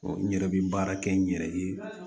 n yɛrɛ bɛ baara kɛ n yɛrɛ ye